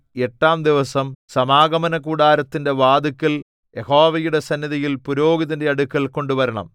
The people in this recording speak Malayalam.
എട്ടാം ദിവസം സമാഗമനകൂടാരത്തിന്റെ വാതില്ക്കൽ യഹോവയുടെ സന്നിധിയിൽ പുരോഹിതന്റെ അടുക്കൽ കൊണ്ടുവരണം